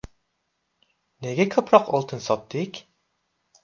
Nega ko‘proq oltin sotdik?